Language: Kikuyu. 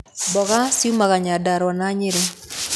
Mboga ciumaga Nyandarua na Nyeri.